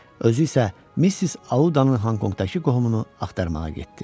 Özü isə Missis Audanın Honkonqdakı qohumunu axtarmağa getdi.